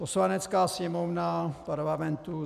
Poslanecká sněmovna Parlamentu